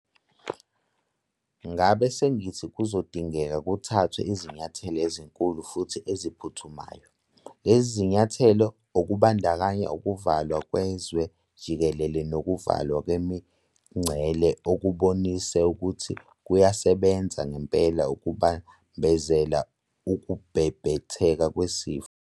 Ngabe sengithi kuzodingeka kuthathwe izinyathelo ezinkulu futhi eziphuthumayo. Lezo zinyathelo - okubandakanya ukuvalwa kwezwe jikelele nokuvalwa kwemingcele - okubonise ukuthi kuyasebenza ngempela ukubambezela ukubhebhetheka kwesifo.